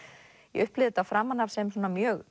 ég upplifði þetta framan af sem svona mjög